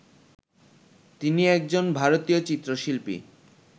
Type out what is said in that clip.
তিনি একজন ভারতীয় চিত্রশিল্পী